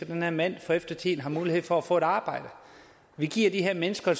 den her mand for eftertiden får mulighed for at få et arbejde vi giver de her mennesker